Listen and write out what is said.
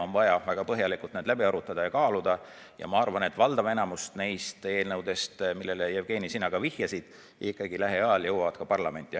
On vaja väga põhjalikult need läbi arutada ja kaaluda ja ma arvan, et valdav enamus nendest eelnõudest, millele, Jevgeni, sina ka viitasid, ikkagi lähiajal jõuavad parlamenti.